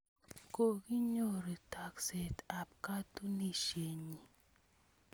Kokinyoru taakset ap katunisyennyi